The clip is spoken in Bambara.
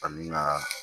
Ani na